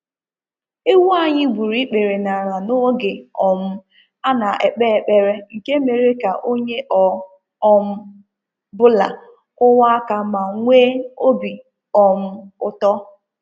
Ewu anyị gburu ikpere n'ala n'oge um a na-ekpe ekpere nke mere ka onye ọ um bụla kụwa aka ma nwee obi um ụtọ.